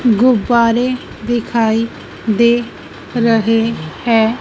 गुब्बारे दिखाई दे रहे हैं।